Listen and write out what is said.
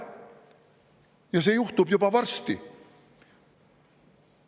Ja see juhtub juba varsti.